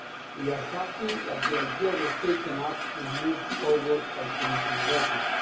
We are happy that the idea was taken up and moved forward by Commissioner Reding.